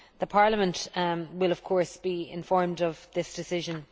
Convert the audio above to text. Parliament will, of course, be informed of that decision.